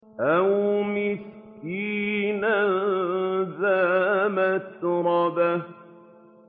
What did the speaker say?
أَوْ مِسْكِينًا ذَا مَتْرَبَةٍ